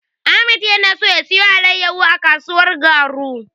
Ahmad ya so ya siyo alaiyahu a kasuwar Garu.